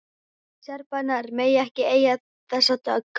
Serbarnir mega ekki eiga þessa dögg!